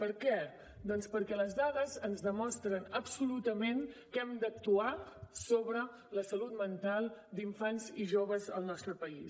per què doncs perquè les dades ens demostren absolutament que hem d’actuar sobre la salut mental d’infants i joves al nostre país